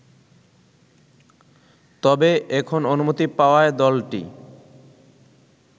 তবে, এখন অনুমতি পাওয়ায় দলটি